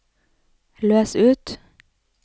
løs ut